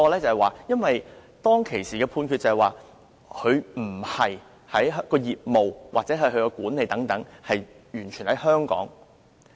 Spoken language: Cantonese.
原因在於，當時的判決指，他們的業務或管理不是完全在香港。